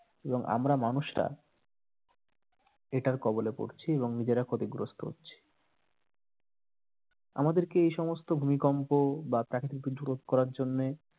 এবং আমরা মানুষরা এটার কবলে পড়ছি এবং নিজেরা ক্ষতিগ্রস্ত হচ্ছি আমাদেরকে এইসমস্ত ভূমিকম্প বা প্রাকৃতিক দুর্যোগ রোধ করার জন্য